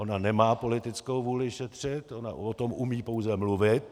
Ona nemá politickou vůli šetřit, ona o tom umí pouze mluvit.